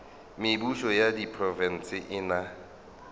mebušo ya diprofense e na